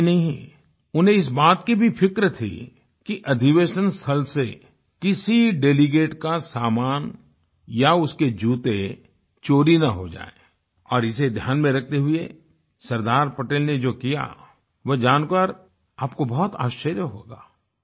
यहीं नही उन्हें इस बात की भी फ़िक्र थी कि अधिवेशन स्थल से किसी डेलीगेट का सामान या उसके जूते चोरी न हो जाएँ और इसे ध्यान में रखते हुए सरदार पटेल ने जो किया वो जानकर आपको बहुत आश्चर्य होगा